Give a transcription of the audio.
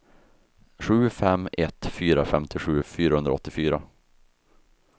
sju fem ett fyra femtiosju fyrahundraåttiofyra